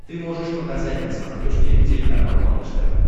ты можешь показать на смотрешке телеканал малыш тв